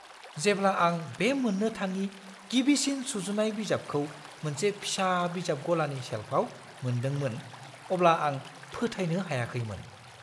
जेब्ला आं बे मोन्नो थाङि गिबिसिन सुजुनाय बिजाबखौ मोनसे फिसा बिजाब गलानि सेल्फआव मोनदोंमोन अब्ला आं फोथायनो हायाखैमोन।